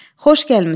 Xoş gəlmisən.